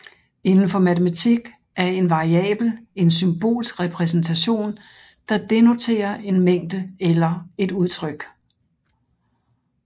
Indenfor matematik er en variabel en symbolsk repræsentation der denoterer en mængde eller et udtryk